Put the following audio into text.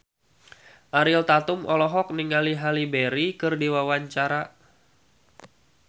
Ariel Tatum olohok ningali Halle Berry keur diwawancara